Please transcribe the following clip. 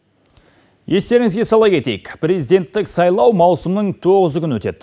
естеріңізге сала кетейік президенттік сайлау маусымның тоғызы күні өтеді